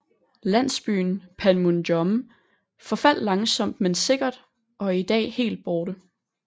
Landsbyen Panmunjom forfaldt langsomt men sikkert og er i dag helt borte